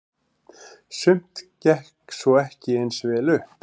Sumt gekk svo ekki eins vel upp.